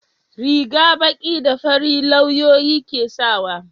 riga baki da fari lauyoyi ke sawa